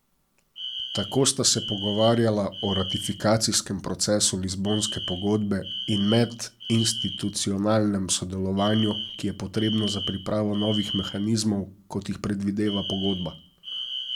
Tako sta se pogovarjala o ratifikacijskem procesu Lizbonske pogodbe in medinstitucionalnem sodelovanju, ki je potrebno za pripravo novih mehanizmov, kot jih predvideva pogodba.